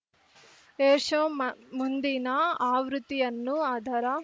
air show ಮ ಮುಂದಿನ ಆವೃತ್ತಿಯನ್ನು ಅದರ